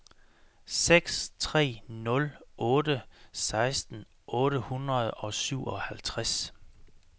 seks tre nul otte seksten otte hundrede og syvoghalvtreds